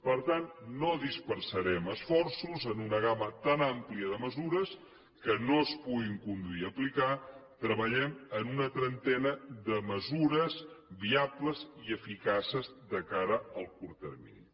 per tant no dispersarem esforços en una gamma tan àmplia de mesures que no es puguin conduir i aplicar treballem en una trentena de mesures viables i eficaces de cara al curt termini